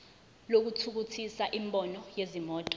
lokuthuthukisa imboni yezimoto